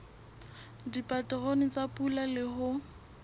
dipaterone tsa pula le ho